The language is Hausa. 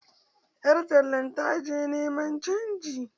Yar tallan ta je niman canji.